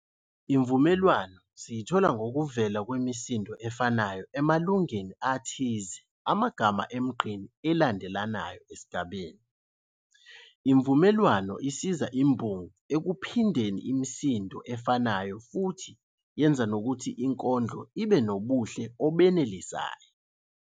Imvumelwano siyithola ngokuvela kwemisindo efanayo emalungeni athize amagama emgqeni elandelanayo esigabeni. Imvumelwano isiza imbongi ekuphindeni imisindo efanayo futhi yenza ukuthi inkondlo ibe nobuhle obenelisayo.